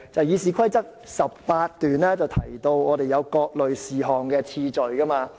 《議事規則》第18條提到立法會審議各類事項的次序。